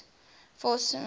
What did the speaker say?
force publique fp